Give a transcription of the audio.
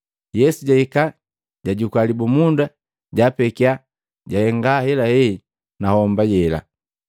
Yesu jahika, jajukua libumunda, jaapekiya, jahenga ahelahe na homba yela.